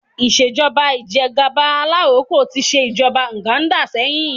Ìṣèjọ́ba ìjẹ́gàba alaroko tí ṣe ìjọba Uganda sẹ́yìn